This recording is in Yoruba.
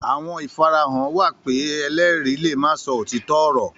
Àwọn ìfarahàn wà pé ẹlẹ́rìí le ma sọ òtítọ́ ọ̀rọ̀